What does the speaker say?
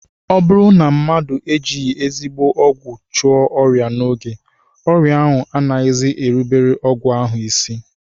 Ọ bụrụ na mmadụ ejighị ezigbo ọgwụ chụọ ọrịa n'oge, ọrịa ahụ anaghịzi erubere ọgwụ ahụ isi